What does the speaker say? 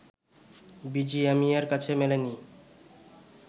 বিজিএমইএর কাছে মেলেনি